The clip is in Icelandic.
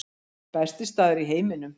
Besti staður í heiminum